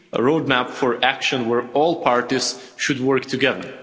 roadmap for action, where all parties should work together.